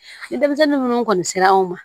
Ni denmisɛnnin minnu kɔni sera anw ma